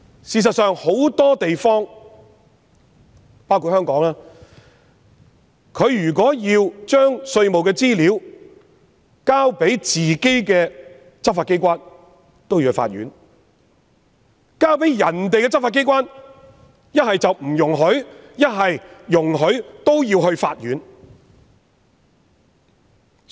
事實上，有很多地方，包括香港，如果稅務資料須提交本身的執法機關，便須向法院申請；如果交給其他國家的執法機關，一是不容許，即使容許也要向法院申請。